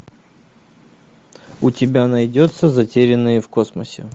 у тебя найдется затерянные в космосе